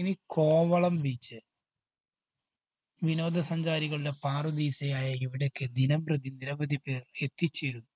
ഇനി കോവളം beach. വിനോദ സഞ്ചാരികളുടെ പാറുദീസയായ ഇവിടേക്ക് ദിനം പ്രതി നിരവധിപേര്‍ എത്തിച്ചേരുന്നു.